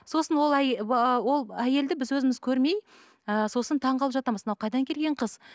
сосын ол ол әйелді біз өзіміз көрмей ыыы сосын таңғалып жатамыз мынау қайдан келген қыз